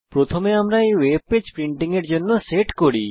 প্রথমে আমরা এই ওয়েব পেজ প্রিন্টিং এর জন্য সেট করি